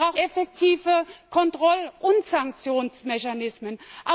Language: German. Wir brauchen effektive Kontroll und Sanktionsmechanismen.